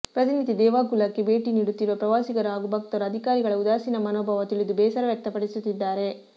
ಪ್ರತಿನಿತ್ಯ ದೇವಗುಲಕ್ಕೆ ಭೇಟಿ ನೀಡುತ್ತಿರುವ ಪ್ರವಾಸಿಗರು ಹಾಗೂ ಭಕ್ತರು ಅಧಿಕಾರಿಗಳ ಉದಾಸೀನ ಮನೋಭಾವ ತಿಳಿದು ಬೇಸರ ವ್ಯಕ್ತಪಡಿಸುತ್ತಿದ್ದಾರೆ